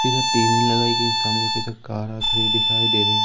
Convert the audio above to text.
इधर टी_वी लगाई गई सामने की तरफ कार आती हुई दिखाई दे रही।